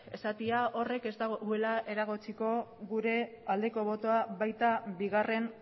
esatea horrek ez duela eragotziko gure aldeko botoa baita bigarren